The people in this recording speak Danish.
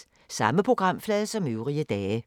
Samme programflade som øvrige dage